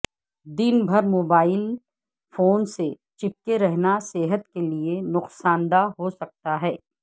دن بھر mobile phone سے چپکے رہنا صحت کے لئے نقصان دہ ہو سکتا ہے